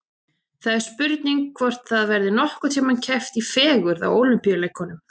Það er spurning hvort það verði nokkurn tíma keppt í fegurð á Ólympíuleikunum.